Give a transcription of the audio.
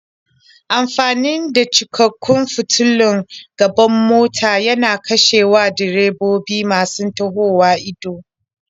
Amfani da cikakkun fitulun gaban mota yana kashewa direbobi masu tahowa ido.